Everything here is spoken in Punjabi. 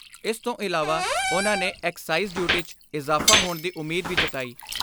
ਇਸ ਤੋਂ ਇਲਾਵਾ ਉਨ੍ਹਾਂ ਨੇ ਐਕਸਾਈਜ਼ ਡਿਊਟੀ 'ਚ ਇਜ਼ਾਫਾ ਹੋਣ ਦੀ ਉਮੀਦ ਵੀ ਜਤਾਈ।